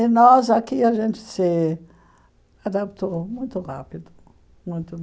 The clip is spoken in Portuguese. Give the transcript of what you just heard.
E nós aqui, a gente se adaptou muito rápido. Muito